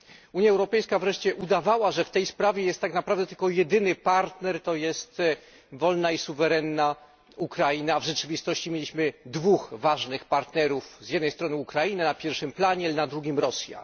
Unia Europejska wreszcie udawała, że w tej sprawie jest tak naprawdę tylko jedyny partner, to jest wolna i suwerenna Ukraina, a w rzeczywistości mieliśmy dwóch ważnych partnerów z jednej strony Ukrainę na pierwszym planie, ale na drugim Rosję.